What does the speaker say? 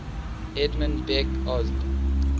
edmund beck osb